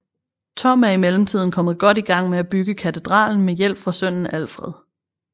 Tom er i mellemtiden kommet godt i gang med at bygge katedralen med hjælp fra sønnen Alfred